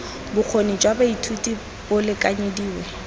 bokgoni jwa baithuti bo lekanyediwe